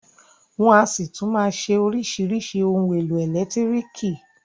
Wọn a ṣì tún máa ṣe oríṣìíríṣìí ohun èlò ẹ̀lẹ́tírìkì.